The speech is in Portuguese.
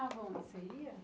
você ia?